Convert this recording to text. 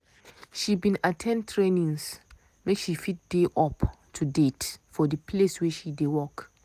she bin at ten d trainings make she fit dey up to date for the place wey she dey work.